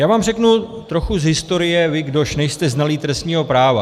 Já vám řeknu trochu z historie, vám, kdož nejste znalí trestního práva.